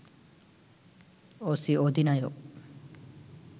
অসি অধিনায়ক